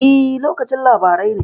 E, lokacin labarai ne.